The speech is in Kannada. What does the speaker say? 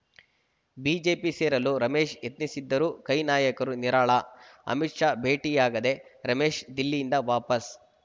ಬಿಜೆಪಿ ಸೇರಲು ರಮೇಶ್‌ ಯತ್ನಿಸುತ್ತಿದ್ದರೂ ಕೈ ನಾಯಕರು ನಿರಾಳ ಅಮಿತ್‌ ಶಾ ಭೇಟಿಯಾಗದೆ ರಮೇಶ್‌ ದಿಲ್ಲಿಯಿಂದ ವಾಪಸ್‌